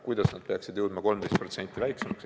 Kuidas see peaks 13% vähenema?